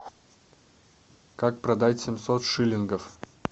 как продать семьсот шиллингов